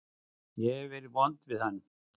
Ég hef verið vond við hann.